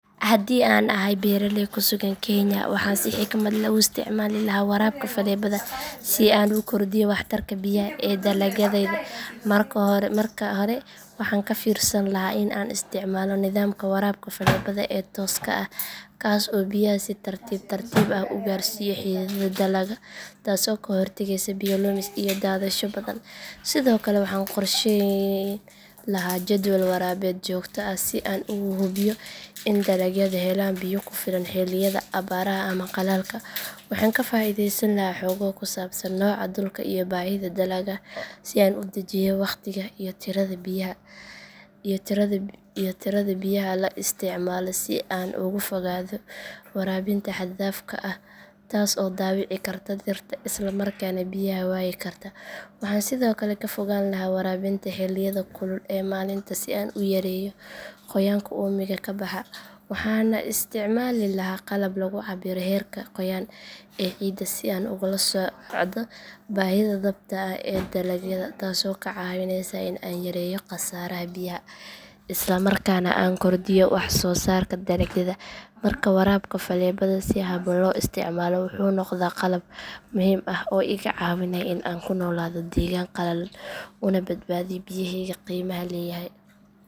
Haddii aan ahay beeraley ku sugan kenya waxaan si xikmad leh u isticmaali lahaa waraabka faleebada si aan u kordhiyo waxtarka biyaha ee dalagyadayda marka hore waxaan ka fiirsan lahaa in aan isticmaalo nidaamka waraabka faleebada ee tooska ah kaas oo biyaha si tartiib tartiib ah u gaarsiiya xididdada dalagga taasoo ka hortagaysa biyo lumis iyo daadsasho badan sidoo kale waxaan qorsheyn lahaa jadwal waraabeed joogto ah si aan u hubiyo in dalagyadu helaan biyo ku filan xilliyada abaaraha ama qalalka waxaan ka faa’iideysan lahaa xogo ku saabsan nooca dhulka iyo baahida dalagga si aan u dejiyo waqtiga iyo tirada biyaha la isticmaalo si aan uga fogaado waraabinta xad dhaafka ah taas oo dhaawici karta dhirta isla markaana biyaha waayi karta waxaan sidoo kale ka fogaan lahaa waraabinta xilliyada kulul ee maalintii si aan u yareeyo qoyaanka uumiga ka baxa waxaana u isticmaali lahaa qalab lagu cabbiro heerka qoyaan ee ciidda si aan ula socdo baahida dhabta ah ee dalagyada taasoo ka caawinaysa in aan yareeyo khasaaraha biyaha isla markaana aan kordhiyo wax soo saarka dalagyada markaa waraabka faleebada si habboon loo isticmaalo wuxuu noqdaa qalab muhiim ah oo iga caawinaya in aan ku noolaado deegaan qalalan una badbaadiyo biyaheyga qiimaha leeyahay